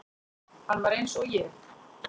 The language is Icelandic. Hann var eins og ég.